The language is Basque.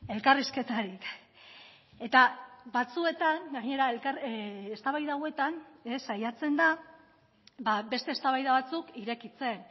elkarrizketarik eta batzuetan gainera eztabaida hauetan saiatzen da beste eztabaida batzuk irekitzen